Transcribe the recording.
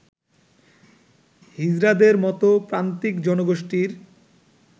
হিজড়াদের মতো প্রান্তিক জনগোষ্ঠীর